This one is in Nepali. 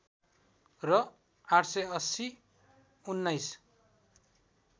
र ८८० १९